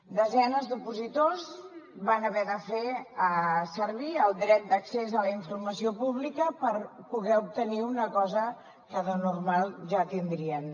desenes d’opositors van haver de fer servir el dret d’accés a la informació pública per poder obtenir una cosa que de normal ja tindrien